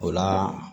O la